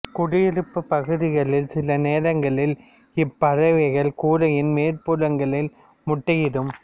குடியிருப்பு பகுதிகளில் சில நேரங்களில் இப்பறவைகள் கூரையின் மேற் புறங்களில் முட்டையிடும்